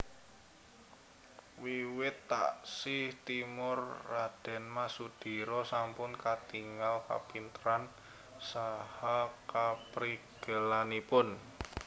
Wiwit taksih timur R M Sudira sampun katingal kapinteran saha kaprigelanipun